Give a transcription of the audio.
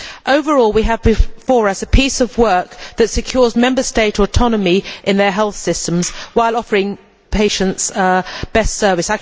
Overall, we have before us a piece of work that secures Member States' autonomy in their health systems while offering patients best service.